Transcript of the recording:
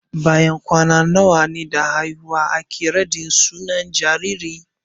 Bayan kwana nawa da haihuwa ake raɗin sunan jariri?